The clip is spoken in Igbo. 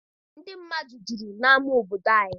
Ndị mmadụ juru n'ama obodo anyị.